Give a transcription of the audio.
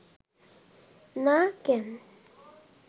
না কেন